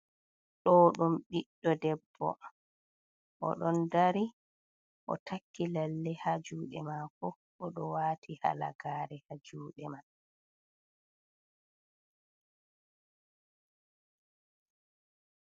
Ɗo ɗum boɗɗo debbo. O ɗon dari, o takki lalle ha juuɗe maako, o ɗo waati halagaare ha juuɗe man.